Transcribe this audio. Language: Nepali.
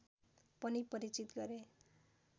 पनि परिचित गरे